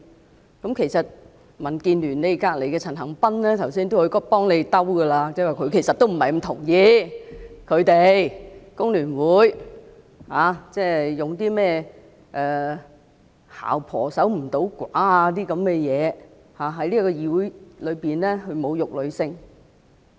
坐在你們旁邊的民建聯陳恒鑌議員剛才也嘗試替你們解圍，說他不太同意工聯會議員用"姣婆守唔到寡"一語在議會內侮辱女性。